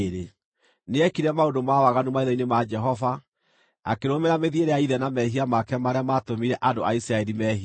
Nĩekire maũndũ ma waganu maitho-inĩ ma Jehova, akĩrũmĩrĩra mĩthiĩre ya ithe na mehia make marĩa maatũmire andũ a Isiraeli meehie.